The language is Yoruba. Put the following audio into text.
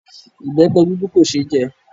Ìbẹpẹ dúdú kò ṣe é jẹ